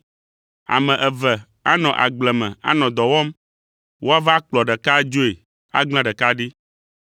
“Ame eve anɔ agble me anɔ dɔ wɔm, woava akplɔ ɖeka adzoe agblẽ ɖeka ɖi.